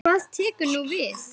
En hvað tekur nú við?